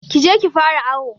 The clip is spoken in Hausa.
Kije ki fara awo